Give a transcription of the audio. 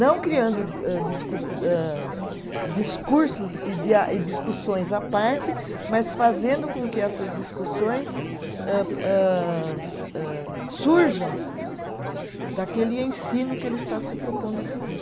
Não criando di âh discur âh, discursos e dia, e discussões à parte, mas fazendo com que essas discussões âh âh âh surjam daquele ensino que ele está se propondo a fazer.